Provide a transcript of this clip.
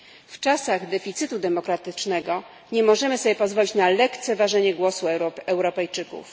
W czasach deficytu demokratycznego nie możemy sobie pozwolić na lekceważenie głosu Europejczyków.